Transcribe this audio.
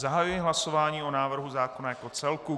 Zahajuji hlasování o návrhu zákona jako celku.